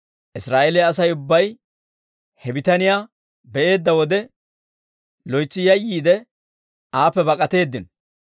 Israa'eeliyaa Asay ubbay he bitaniyaa be'eedda wode, loytsi yayyiide aappe bak'atteedino.